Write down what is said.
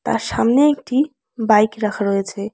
আর সামনে একটি বাইক রাখা রয়েছে।